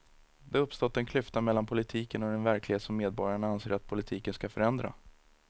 Det har uppstått en klyfta mellan politiken och den verklighet som medborgarna anser att politiken ska förändra.